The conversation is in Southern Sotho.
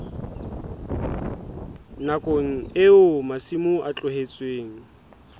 nakong eo masimo a tlohetsweng